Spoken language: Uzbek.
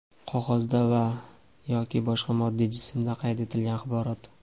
qog‘ozda va (yoki) boshqa moddiy jismda qayd etilgan axborot.